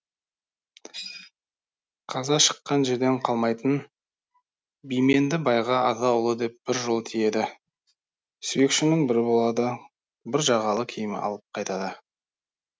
қаза шыққан жерден қалмайтын бименді байға аға ұлы деп бір жол тиеді сүйекшінің бірі болады бір жағалы киім алып қайтады